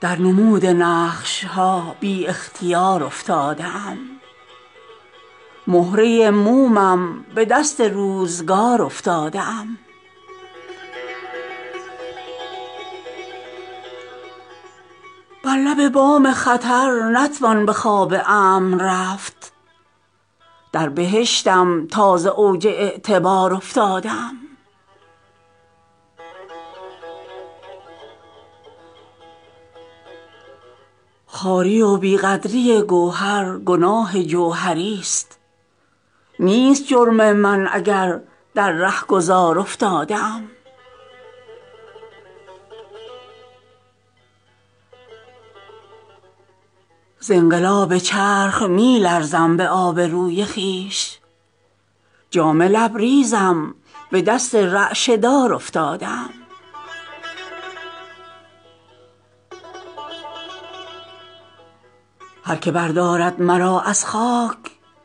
در نمود نقش ها بی اختیار افتاده ام مهره مومم به دست روزگار افتاده ام ز انقلاب چرخ می لرزم به آب روی خویش جام لبریزم به دست رعشه دار افتاده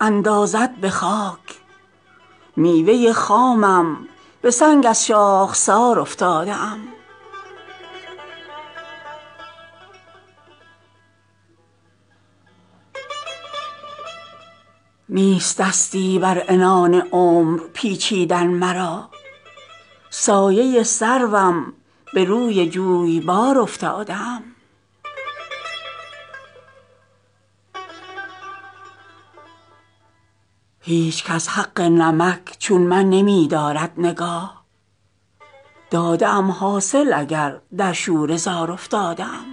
ام نیست دستی بر عنان عمر پیچیدن مرا سایه سروم به روی جویبار افتاده ام چون نگردد داغ حسرت فلس بر اندام من از محیط بیکران در چشمه سار افتاده ام دیده ام در نقطه آغاز انجام فنا چون شرر در جان فشانی بی قرار افتاده ام هرکه بردارد مرا از خاک اندازد به خاک میوه خامم به سنگ از شاخسار افتاده ام بر لب بام خطر نتوان به خواب امن رفت در بهشتم تا ز اوج اعتبار افتاده ام دست موج از زخم دندان گهر نیلی شده است تا من از دریای هستی برکنار افتاده ام هیچ کس حق نمک چون من نمی دارد نگاه داده ام حاصل اگر در شوره زار افتاده ام خنده گل در رکاب چشم خونبار من است گریه رو هرچند چون ابر بهار افتاده ام تارو پود هستی من جامه فانوس نیست من همان نورم که بیرون زین حصار افتاده ام خواری و بی قدری گوهر گناه جوهری است نیست جرم من اگر در رهگذار افتاده ام نیست غیر از ساده لوحی خط پاکی در جهان من چو طفلان در پی نقش و نگار افتاده ام نیست صایب بی سرانجامی مرا مانع ز عشق گرچه بد نقشم ولی عاشق قمار افتاده ام